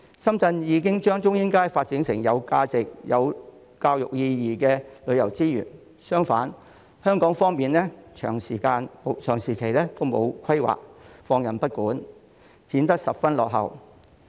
深圳已將中英街發展成有價值、有教育意義的旅遊資源，相反香港方面長時間沒有規劃、放任不管，顯得十分落後。